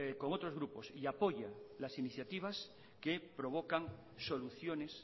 con otros grupos y apoya las iniciativas que provocan soluciones